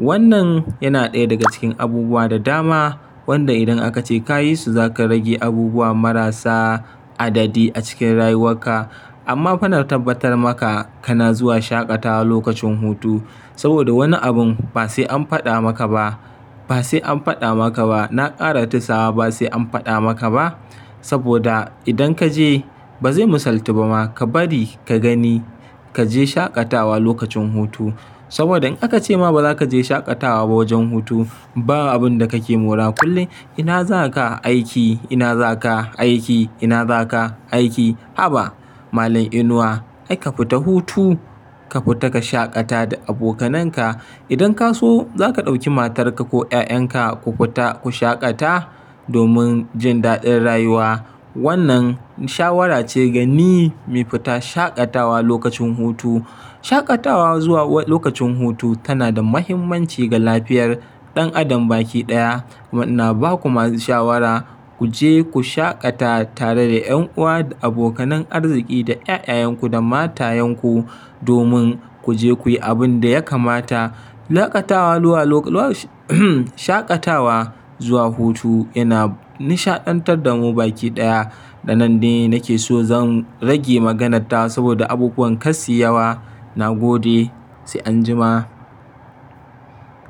Wannan yana ɗaya daga cikin abubuwa da dama wanda idan aka ce kayi su, za ka rage abubuwa marasa adadi a cikin rayuwarka. Amma fannar tabbatar maka kana zuwa shaƙatawa lokacin hutu saboda wani abun ba sai an faɗa maka ba. Ba sai an faɗa maka ba. Na ƙara tisa ba sai an faɗa maka ba saboda idan ka je, ba zai misaltu ba ma. Ka bari ka gani, ka je shaƙatawa lokacin hutu saboda in aka ce ma ba za ka je shaƙatawa ba wajen hutu, ba abun da kake mura. Kullum ina za ka aiki? Ina za ka aiki? Ina za ka aiki? Haba, malam Inuwa. Ai ka fita hutu, ka fita ka shaƙata da abokananka. Idan ka so, za ka ɗauki matarka ko ƴaƴanka ku fita ku shaƙata domin jin daɗin rayuwa. Wannan shawara ce ga ni, muyi fita shaƙatawa lokacin hutu. Shaƙatawa zuwa lokacin hutu tana da muhimmanci ga lafiyar ɗan adam baki ɗaya. Kuma ina ba ku masu shawara, ku je ku shaƙata tare da ƴan uwa da abokanan arziƙi da ƴaƴayenku da matayenku domin ku je kuyi abin da ya kamata. Shaƙatawa zuwa hutu yana nishaɗantar da mu baki ɗaya. A nan ne nake so zan rage maganar tawa saboda abubuwan kar suyi yawa. Na gode, sai anjima.